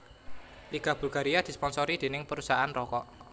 Liga Bulgaria disponsori dening perusahaan rokok